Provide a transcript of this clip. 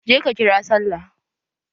Je ka kira sallah!